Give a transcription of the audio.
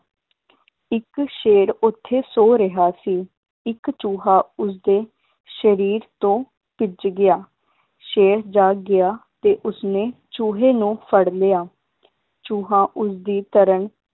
ਇੱਕ ਸ਼ੇਰ ਓਥੇ ਸੋ ਰਿਹਾ ਸੀ ਇੱਕ ਚੂਹਾ ਉਸਦੇ ਸ਼ਰੀਰ ਤੋਂ ਭਿੱਜ ਗਿਆ, ਸ਼ੇਰ ਜਾਗ ਗਿਆ ਤੇ ਉਸਨੇ ਚੂਹੇ ਨੂੰ ਫੜ ਲਿਆ ਚੂਹਾ ਉਸਦੀ ਤਰ੍ਹਾਂ